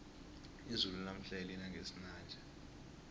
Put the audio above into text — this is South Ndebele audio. izulu lanamhlanje lina ngesinanja